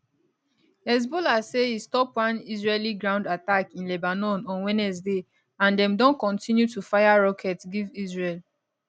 hezbollah say e stop one israeli ground attack in lebanon on wednesday and dem don continue to fire rockets give israel